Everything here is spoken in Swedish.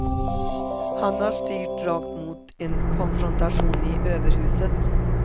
Han har styrt rakt mot en konfrontation i överhuset.